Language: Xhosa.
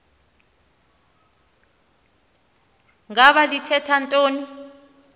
ngaba lithetha ntoni